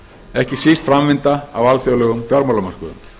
ekki síst framvinda á alþjóðlegum fjármálamörkuðum